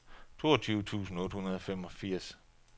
toogtyve tusind otte hundrede og femogfirs